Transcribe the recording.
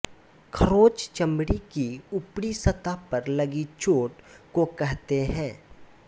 खरोंच चमड़ी की उपरी सतह पर लगी चोट को कहते हैं